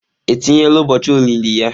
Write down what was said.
Etinyela ụbọochị olili ya?